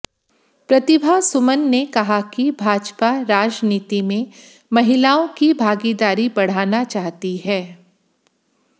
प्रतिभा सुमन ने कहा कि भाजपा राजनीति में महिलाओं की भागीदारी बढ़ाना चाहती है